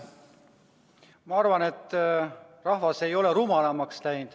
Ma arvan, et rahvas ei ole rumalamaks läinud.